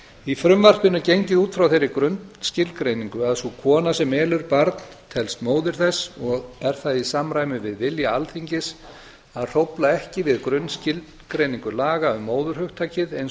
í frumvarpinu er gengið út frá þeirri grunnskilgreiningu að sú kona sem elur barn telst móðir þess og er það í samræmi við vilja alþingis að hrófla ekki við grunnskilgreiningu lag að móðurhugtakið eins